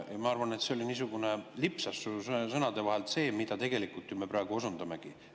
Ma arvan, et see lipsas sul sõnade vahel välja, see, millele me praegu ju osundamegi.